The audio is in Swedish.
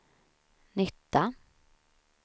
nytta